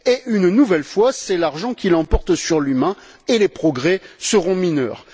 Une nouvelle fois, c'est l'argent qui l'emporte sur l'humain et les progrès seront mineurs.